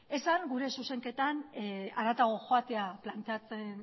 esan gura zuzenketan harago joatea planteatzen